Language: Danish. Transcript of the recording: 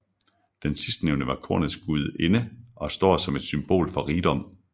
Den sidstnævnte var kornets gudinde og står som et symbol for rigdom